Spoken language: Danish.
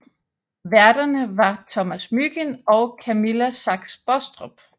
Værterne var Thomas Mygind og Camilla Sachs Bostrup